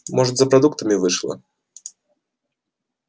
может за продуктами вышла